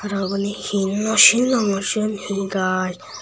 uboni hee no sinongor sien hee gaaj.